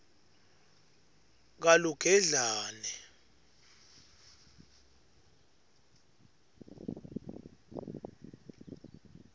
kalugedlane